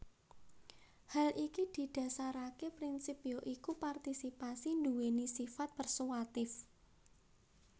Hal iki didasaraké prinsip ya iku partisipasi nduwèni sifat persuatif